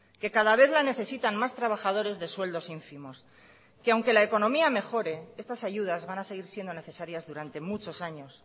que cada vez la necesitan más trabajadores de sueldos ínfimos que aunque la economía mejore estas ayudas van a seguir siendo necesarias durante muchos años